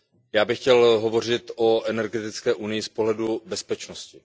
já bych chtěl hovořit o energetické unii z pohledu bezpečnosti.